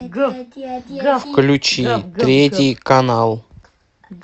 включи третий канал